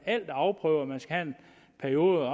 er afprøvet og man skal have en periode